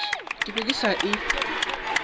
ke be ke sa e